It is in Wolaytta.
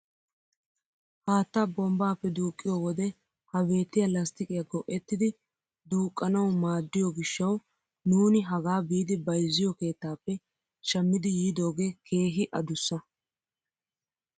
Haattaa bombbaappe duuqiyoo wode ha beettiyaa lasttiqiyaa go"ettidi duuqqanawu maaddiyoo gishshawu nuuni hagaa biidi bayzziyoo keettaappe shammidi yiidogee keehi adussa.